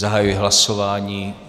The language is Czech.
Zahajuji hlasování.